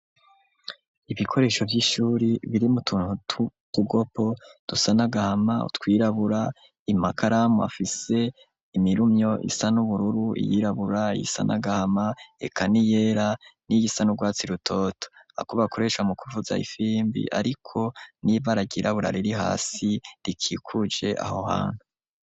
Ibikoresho vy'ishuri biri mutuntu kugopo dusanagahama utwirabura amakaramu afise imirumyo isa n'ubururu iy'irabura iyisanagahama reka niyera n'iyisanurwatsi rutoto, ako bakoresha mu kuvuza ifimbi ariko niba ragi irabura riri hasi rikikuje aho hantu.